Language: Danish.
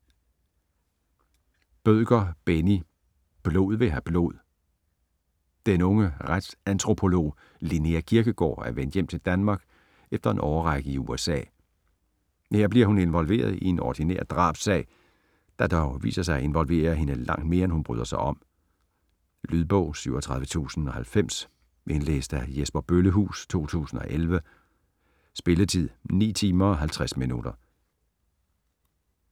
Bødker, Benni: Blod vil have blod Den unge retsantropolog, Linnea Kirkegaard, er vendt hjem til Danmark efter en årrække i USA. Her bliver hun involveret i en ordinær drabssag, der dog viser sig at involvere hende langt mere end hun bryder sig om. Lydbog 37090 Indlæst af Jesper Bøllehuus, 2011. Spilletid: 9 timer, 50 minutter.